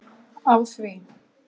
Á því